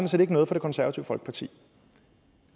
set ikke noget for det konservative folkeparti